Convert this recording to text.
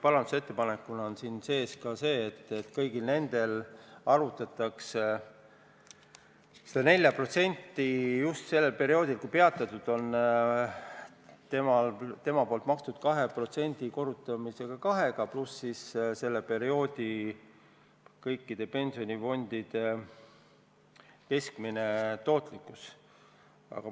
Parandusettepanekuna on siin sees, et kõigil nendel arvutatakse 4% sel perioodil, kui maksed peatatud on, välja nii, et inimese makstud 2% korrutatakse kahega, pluss selle perioodi kõikide pensionifondide keskmine tootlikkus.